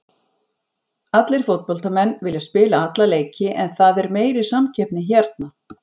Allir fótboltamenn vilja spila alla leiki en það er meiri samkeppni hérna.